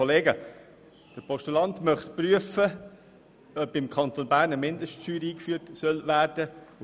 Der Postulant möchte prüfen lassen, ob beim Kanton Bern eine Mindeststeuer eingeführt werden soll.